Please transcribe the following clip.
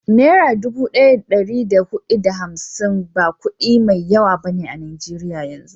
Nera dubu daya da dari da hudu da hamsin ba kudi mai yawa ba a najeriyan yanzu